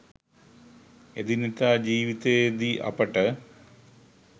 එදිනෙදා ජීවිතයේදී අපට